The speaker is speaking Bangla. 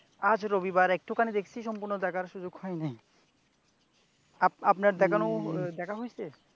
আজ রবিবার, একটু খানি দেখছি, সম্পূর্ণ দেখার সুযোগ হয় নাই। আপনার দেখানো, দেখা হইছে?